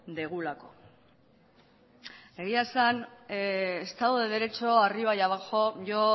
dugulako egia esan estado de derecho arriba y abajo yo